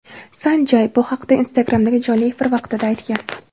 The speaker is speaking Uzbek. San Jay bu haqda Instagram’dagi jonli efir vaqtida aytgan.